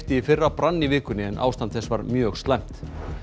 í fyrra brann í vikunni en ástand þess var mjög slæmt